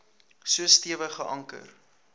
so stewig geanker